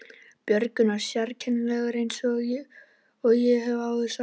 Björgvin var sérkennilegur eins og ég hef áður sagt.